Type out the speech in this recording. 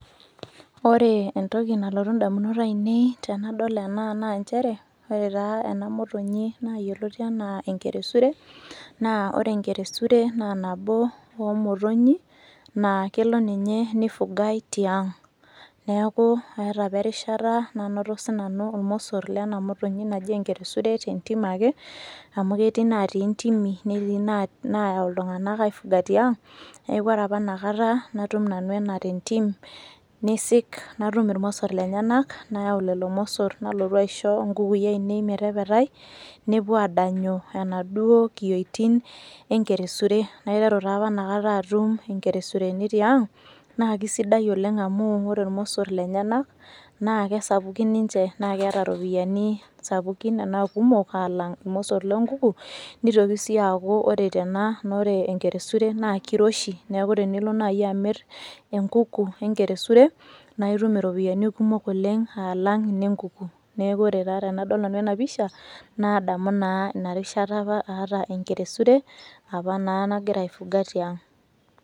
Ore entoki nalotu ndamunot ainei tenadol ena naa njere, ore taa ena motonyi naa yioloti enaa enkeresure naa ore enkeresure, naa nabo wo motonyi naa kelo ninye nifugai tiang'. Neeku eeta apa erishata nanoto sinanu irmosor lena motonyi naji enkeresure te ntim ake, amu keti natii ntimi, netii na nayau iltung'anak aifuga tiang'. Neeku ore apa inakata natum nanu ena te ntim, niisik natum irmosor lenyenak nayau lelo mosor nalotu aisho nkukui ainei metepetai nepuo aadanyu enaduo kiyioitin enkeresure. Naiteru taa apa inakata atum nkeresureni tiang' naake sidai oleng' amu ore irmosor lenyenak naake sapukin ninje naake eeta ropiani sapukin enaa kumok aalang'irmosor loo nkuku. Nitoki sii aaku ore tena naa ore enkeresure naa kiroshi neeku tenilo nai amir enkuku we nkeresure, nae itum iropiani kumok oleng' alang' ine nkuku. Neeku ore taa tenadol nanu ena pisha naadamu naa ina rishata apa aata enkeresure apa naa nagira aifuga tiang'.